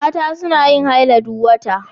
Mata suna yin haila duk wata.